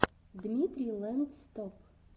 дмитрий лэндстоп